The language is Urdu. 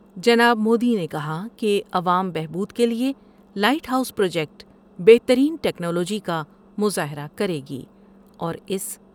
جناب مودی نے کہا کہ عوام بہبود کے لئے لائٹ ہاؤس پروجیکٹ بہترین ٹیکنالوجی کا مظاہرہ کرے گی اور اس